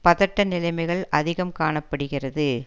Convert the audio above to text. பதட்ட நிலைமைகள் அதிகம் காண படுகிறது